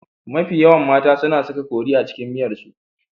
Mafi yawan mata su na saka kori a cikin miyarsu.